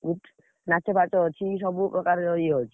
ଉଁ, ନାଚଫାଚ ଅଛି ସବୁ ପ୍ରକାର ଇଏ ଅଛି।